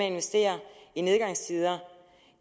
investere i nedgangstider